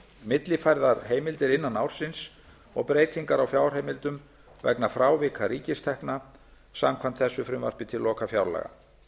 millifærðar heimildir innan ársins og breytingar á fjárheimildum vegna frávika ríkistekna samkvæmt þessu frumvarpi til lokafjárlaga